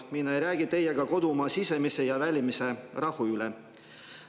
Mina ei räägi teiega kodumaa sisemise ja välise rahu üle.